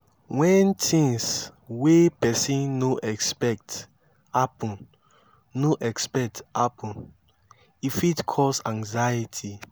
when things wey person no expect happen no expect happen e fit cause anxiety